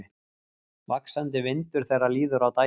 Vaxandi vindur þegar líður á daginn